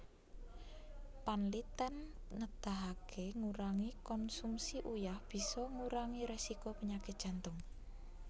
Panlitèn nedahaké ngurangi konsumsi uyah bisa ngurangi résiko penyakit Jantung